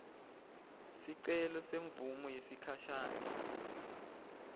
sicelo semvumo yesikhashane